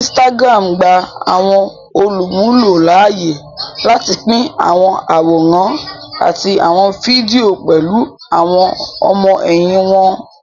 Instagram gbà àwọn olumulo láàyè láti pin àwọn àwòrán àti àwon fídíò pẹlú àwon ọmọ-ẹhin wón